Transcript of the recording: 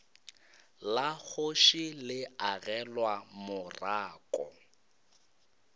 la kgoši le agelwa morako